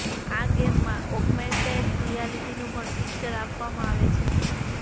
આ ગેમમાં ઓગ્મેંટેડ રિયાલિટીનું પણ ફિચર આપવામાં આવ્યું છે